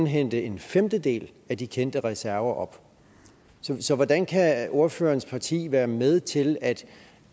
hente en femtedel af de kendte reserver op så hvordan kan ordførerens parti være med til